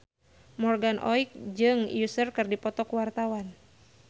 Morgan Oey jeung Usher keur dipoto ku wartawan